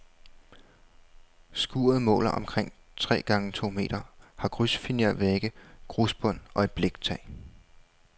Skuret måler omkring tre gange to meter, har krydsfinervægge, grusbund og et bliktag.